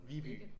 Viby